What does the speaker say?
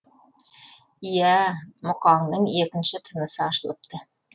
иә ә мұқаңның екінші тынысы ашылыпты